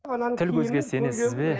тіл көзге сенесіз бе